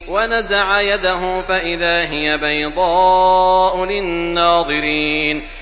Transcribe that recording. وَنَزَعَ يَدَهُ فَإِذَا هِيَ بَيْضَاءُ لِلنَّاظِرِينَ